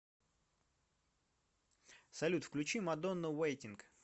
салют включи мадонна вэйтинг